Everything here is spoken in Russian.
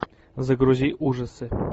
загрузи ужасы